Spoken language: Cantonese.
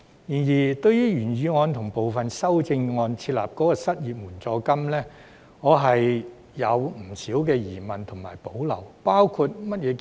然而，對於原議案及部分修正案建議設立失業援助金，我對此有不少疑問及保留。